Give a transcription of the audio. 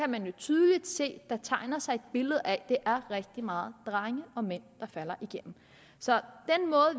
man jo tydeligt se at der tegner sig et billede af at det er rigtig mange drenge og mænd der falder igennem så